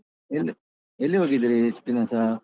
L~ ಎಲ್ಲಿಗೋಗಿದ್ರಿ ಇಷ್ಟು ದಿನಾಸ?